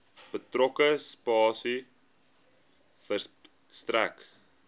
betrokke spasie verstrek